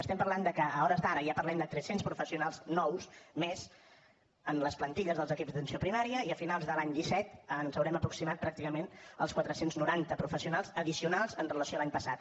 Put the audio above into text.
estem parlant de que a hores d’ara ja parlem de tres cents professionals nous més en les plantilles dels equips d’atenció primària i a finals de l’any disset ens haurem aproximat pràcticament als quatre cents i noranta professionals addicionals amb relació a l’any passat